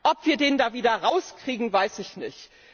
Ob wir den da wieder rauskriegen, weiß ich nicht.